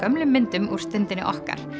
myndum úr Stundinni okkar